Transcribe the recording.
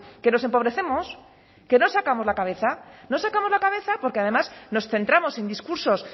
que nos empobrecemos que no sacamos la cabeza no sacamos la cabeza porque además nos centramos en discursos